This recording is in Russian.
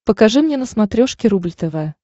покажи мне на смотрешке рубль тв